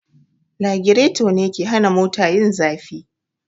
Lagireto ne me ke hana mota yin zafi